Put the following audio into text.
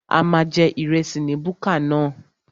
A máa jẹ ìrẹsì ní búkà náà